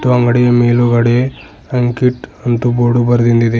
ಅಂಗಡಿ ಮೇಲುಗಡೆ ಅಂಕಿತ್ ಅಂತು ಬೋರ್ಡು ಬರೆದಿಂದು ಇದೆ.